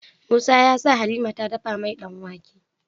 Musa yasa halima ta dafa mai dan wake